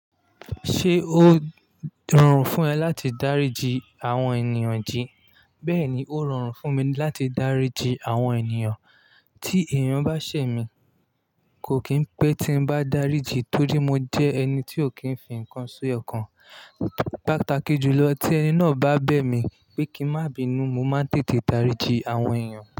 Ṣé ó rọrùn fún ẹ láti dáríji àwọn ènìyàn jí? Bẹ́ẹ̀ni, ó rọrùn fún mi láti dáríji àwọn ènìyàn. Tí èèyàn bá ṣẹ̀ mí, kò kí ń pé tí n bá dáríji torí mo jẹ́ ẹni tí ò kí ń fi nǹkan si ọkàn. Pátàkì jùlọ tí ẹni náà bá bẹ̀ mí pé kí n má bínú, mo máa ń tètè dáríji àwọn èèyàn.